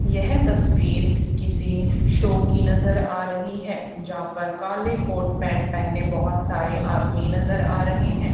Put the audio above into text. यह तस्वीर किसी शो की नजर आ रही है यहां पर काले कोट पैंट पहने बहुत सारे आदमी नजर आ रहे हैं।